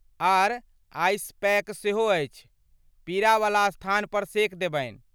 आर ice pack सेहो अछि ,पीड़ा वला स्थान पर सेक देबनि।